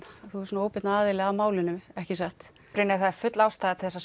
þú ert svona óbeinn aðili að málinu ekki satt Brynjar það er full ástæða til þess